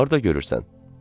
Harda görürsən?